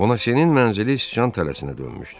Bonasyenin mənzili sican tələsinə dönmüşdü.